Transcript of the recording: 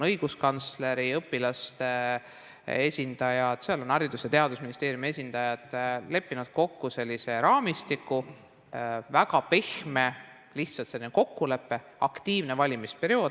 Õiguskantsleri ja õpilaste esindajad ning Haridus- ja Teadusministeeriumi esindajad leppisid kokku sellise raamistiku, see on väga pehme kokkulepe aktiivse valimisperioodi jaoks.